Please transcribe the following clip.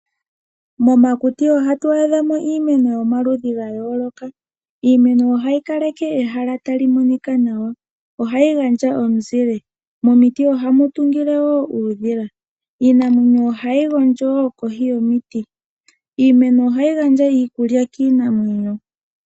Momakuti ohatu adhamo iimeno yomaludhi ga yooloka. Iimeno ohayi kaleke ehala talimonika nawa, ohayi gandja omuzile ,momiti ohamu tungile woo uudhila ,iimeno ohayi gondjo kohi yomiti, iimeno ohayi gandja iikulya kiimeno.